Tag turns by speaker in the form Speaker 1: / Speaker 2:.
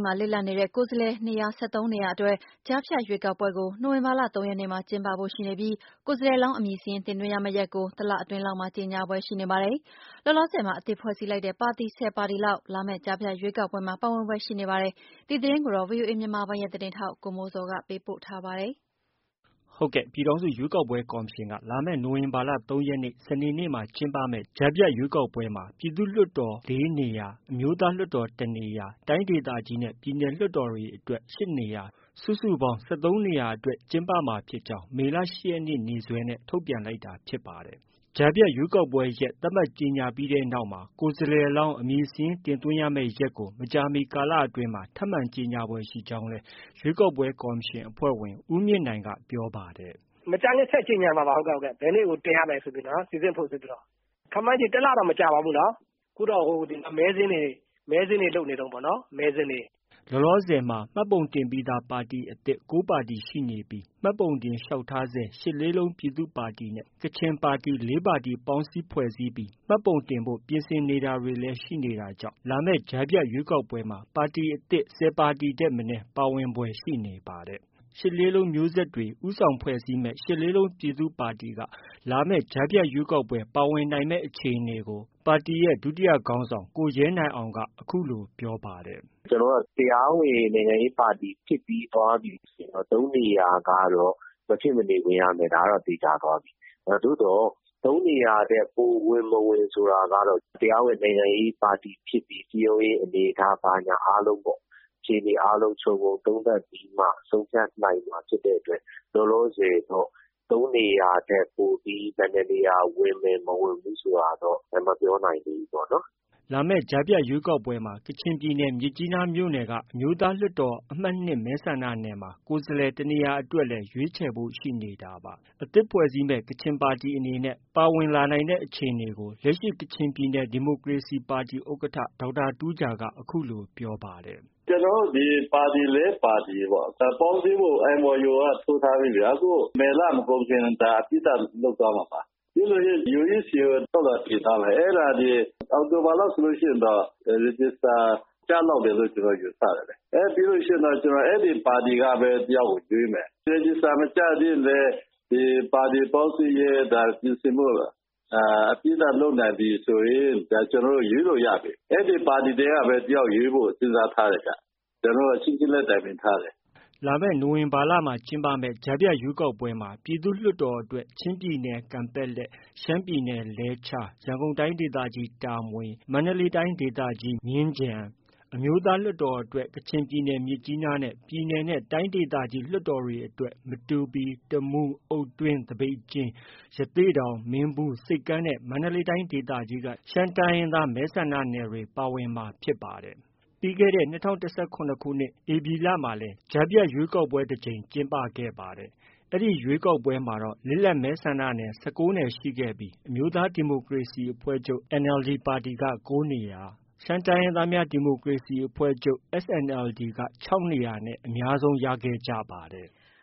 Speaker 1: မှာ လစ်လပ်နေတဲ့ ကိုယ်စားလှယ်နေရာ ၁၃နေရာအတွက် ကြားဖြတ်ရွေးကောက်ပွဲကို နိုဝင်ဘာလ ၃ရက်နေ့မှာ ကျင်းပဖို့ရှိနေပြီး ကိုယ်စားလှယ်လောင်း အမည်စာရင်းတင်သွင်းရမယ့်ရက်ကို တာကို တလအတွင်းလောက်မှာ ကြေညာဖွယ်ရှိနေပါတယ်။ လောလောဆည်မှာ အသစ်ဖွဲ့စည်းလိုက်တဲ့ ပါတီ ၁၀ပါတီလောက်လာမယ့်ကြားဖြတ်ရွေးကော်ပွဲမှာ ပါဝင်ဖွယ်ရှိနေပါတယ်။ ဒီသတင်းကို ဗွီအိုအေ မြန်မာပိုင်းရဲ့သတင်းထောက် ကိုမိုးဇော်က တင်ပြထားပါတယ်။ ပြည်ထောင်စုရွေးကောက်ပွဲကော်မရှင်က လာမယ့် နိုဝင်ဘာလ ၃ရက်နေ့ စနေနေ့မှာ ကျင်းပမယ့်ကြားဖြတ်ရွေးကောက်ပွဲမှာ ပြည်သူ့လွှတ်တော် ၄နေရာ၊ အမျိုးသားလွှတ်တော် ၁နေရာ၊ တိုင်းဒေသကြီးနဲ့ ပြည်နယ်လွှတ်တော်အတွက် ၈နေရာ စုစုပေါင်း ၁၃နေရာအတွက် ကျင်းပမှာဖြစ်ကြောင်း မေလ ၈ရက်နေ့ နေ့စွဲနဲ့ ထုတ်ပြန်လိုက်တာဖြစ်ပါတယ်။ ကြားဖြတ်ရွေးကောက်ပွဲရက် သတ်မှတ်ကြေညာပြီးတဲ့နောက်မှာ ကိုယ်စားလှယ်လောင်း အမည်စာရင်း တင်သွင်းရမယ့်ရက်ကို မကြာမီကာလအတွင်းမှာ ထပ်မံကြေညာဖို့ရှိကြောင်းလည်း ရွေးကောက်ပွဲကော်မရှင် အဖွဲ့ဝင် ဦးမြင့်နိုင်က ပြောပါတယ်။ “မကြာခင် ဆက်ကြေညာမှာပါ။ ဘယ်နေ့ကို တင်ရမယ်ဆိုပြီးတော့၊ စိစစ်ဖို့ ဆိုပြီးတော့။ ခန့်မှန်းခြေ တစ်လတောင်မကြာပါဘူးနော်။ အခုတော့ မဲစာရင်းတွေ လုပ်နေတုံးပေါ့နော်။” လောလောဆည်မှာတော့ မှတ်ပုံတင်ရပြီးသား ပါတီအသစ် ၉ပါတီရှိနေပြီး မှတ်ပုံတင် လျှောက်ထားဆဲ ရှစ်လေးလုံးပြည်သူ့ပါတီနဲ့ ကချင်ပါတီ ၄ပါတီ ပေါင်းစည်းဖွဲ့စည်းပြီး မှတ်ပုံတင်ဖို့ ပြင်ဆင်နေတာတွေလည်း ရှိနေတာကြောင့် လာမယ့် ကြားဖြတ်ရွေးကောက်ပွဲမှာ ပါတီအသစ် ၁၀ပါတီထက်မနည်း ပါဝင်ဖွယ်ရှိနေပါတယ်။ ရှစ်လေးလုံးမျိုးဆက်တွေ ဦးဆောင်ဖွဲ့စည်းတဲ့ ရှစ်လေးလုံးပြည်သူ့ပါတီက လာမယ့် ကြားရွေးကောက်ပွဲပါဝင်နိုင်တဲ့အခြေအနေကို ပါတီရဲ့ ဒုတိယခေါင်းဆောင် ကိုရဲနိုင်အောင်က အခုလို ပြောပါတယ်။
Speaker 2: “ ကျနော်တို့က တရားဝင်နိုင်ငံရေးပါတီဖြစ်သွားပြီဆိုရင် ၃နေရာကတော့ မဖြစ်မနေဝင်ရမယ်။ ဒါကတော့ သေချာသွားပြီ။ သို့သော် ၃နေရာထက် ပိုဝင်မဝင်ဆိုတာကတော့ တရားဝင်နိုင်ငံရေးပါတီဖြစ်ပြီး စည်းရုံးရေးအနေအထား ဘာညာအားလုံးပေါ့။ အခြေအနေအားလုံးခြုံငုံသုံးသပ်ပြီးမှ ဆုံးဖြတ်နိုင်မှာဖြစ်တဲ့အတွက် လောလောဆည်တော့ ၃နေရာထက် ပိုပြီး ဘယ်နှစ်နေရာ ဝင်မယ် မဝင်ဘူးဆိုတာ မပြောနိုင်သေးဘူးပေါ့နော်။
Speaker 1: ” လာမယ့်ကြားဖြတ်ရွေးကောက်ပွဲမှာ ကချင်ပြည်နယ် မြစ်ကြီးနား မြို့နယ်က အမျိုးသားလွှတ်တော်အမှတ်(၂)မဲဆန္ဒနယ်မှာ ကိုယ်စားလှယ်တစ်နေရာအတွက် ရွေးချယ်ဖို့ ရှိနေတာပါ။ အသစ်ဖွဲ့စည်းမယ့် ကချင်ပါတီအနေနဲ့ ပါဝင်လာနိုင်တဲ့အခြေအနေကို လက်ရှိ ကချင်ပြည်နယ် ဒီမိုကရေစီပါတီ ဥက္ကဌ ဒေါက်တာတူးဂျာက အခုလို ပြောပါတယ်။
Speaker 3: “ ကျနော်တို့ ဒီပါတီ ၄ပါတီပေါ့၊ ဒီပေါင်းစည်းဖို့ MoU က ထိုးထားတယ်ဗျာ။ ဒီမေလ မကုန်ခင် အပြီးသတ် လုပ်သွားမှာပါ။ ပြီးရင် UEC ကို လျှောက်လွှာတင်သွားမယ်။ အောက်တိုဘာလောက်ဆိုရင်တော့ Register ကျလောက်မယ်လို့ ကျနော် ယူဆတယ်လေ။ ပြီးလို့ရှိရင်တော့ အဲဒီပါတီကပဲ တယောက်ကို ရွေးမယ်။ Register မကျသေးရင်လည်း ပါတီပေါင်းစည်းရေးပြင်ဆင်မှု အပြီးသတ်လုပ်နိုင်ပြီဆိုရင် ကျနော်တို့ ရွေးလို့ ရပြီ။ အဲဒီပါတီထဲကပဲ တယောက်ရွေးဖို့ စဉ်းစားထားတယ်။ ကျနော်တို့ အချင်းချင်းလည်း တိုင်ပင်ထားတယ်။ ”
Speaker 1: လာမယ့် နိုဝင်ဘာကြားဖြတ်ရွေးကောက်ပွဲမှာ ပြည်သူ့လွှတ်တော်အတွက် ချင်းပြည်နယ် ကန်ပက်လက်၊ ရှမ်းပြည်နယ်လဲချား၊ ရန်ကုန်တိုင်းဒေသကြီး တာမွေ၊ မန္တလေးတိုင်းဒေသ ကြီးမြင်းခြံ၊ အမျိုးသားလွှတ်တော်အတွက် ကချင်ပြည်နယ်မြစ်ကြီးနားနဲ့ ပြည်နယ်နဲ့ တိုင်းဒေသကြီးလွှတ်တော်အတွက် မတူပီ၊ တမူး၊ အုတ်တွင်း၊ သပိတ်ကျင်း၊ ရသေ့တောင်၊ မင်းဘူး၊ ဆိပ်ကမ်းနဲ့ မန္တလေးတိုင်းဒေသကြီးက ရှမ်းတိုင်းရင်းသားမဲဆန္ဒနယ်တွေ ပါဝင်မှာဖြစ်ပါတယ်။ ပြီးခဲ့တဲ့ ၂၀၁၇ခုနှစ် ဧပြီလမှာလည်း ကြားဖြတ်ရွေးကောက်ပွဲ တကြိမ် ကျင်းပ ခဲ့ပါတယ်။ အဲဒီရွေးကောက်ပွဲမှာတော့ လစ်လပ်မဲဆန္ဒနယ် ၁၉နယ်ရှိခဲ့ပြီး အမျိုးသားဒီမိုကရေစီ အဖွဲ့ချုပ် က ၉နေရာ၊ ရှမ်းတိုင်းရင်းသားများ ဒီမိုကရေစီအဖွဲ့ချုပ်က ၆နေရာနဲ့ အများဆုံးရခဲ့ကြပါတယ်။